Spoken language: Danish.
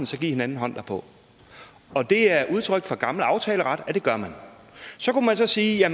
så giv hinanden hånd derpå det er udtryk for gamle aftaleret at det gør man så kunne man så sige